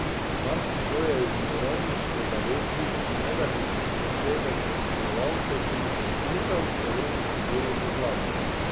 Marsikdo je iz mirovniške zavesti, ne da bi posebej premišljeval, to tudi podpisal, celo nekateri v vladi.